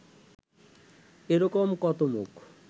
এ রকম কত মুখ